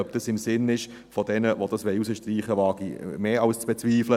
Ob das im Sinne derer ist, die das herausstreichen wollen, wage ich mehr als zu bezweifeln.